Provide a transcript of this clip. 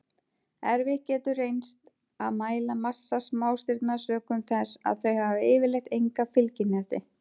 Erfitt getur reynst að mæla massa smástirna sökum þess að þau hafa yfirleitt enga fylgihnetti.